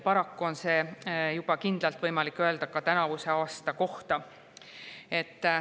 Paraku on juba kindlalt seda võimalik öelda ka tänavuse aasta kohta.